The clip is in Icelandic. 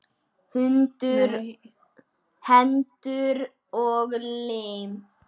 Hendur og lim.